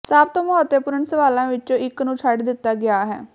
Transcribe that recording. ਸਭ ਤੋਂ ਮਹੱਤਵਪੂਰਣ ਸਵਾਲਾਂ ਵਿੱਚੋਂ ਇੱਕ ਨੂੰ ਛੱਡ ਦਿੱਤਾ ਗਿਆ ਹੈ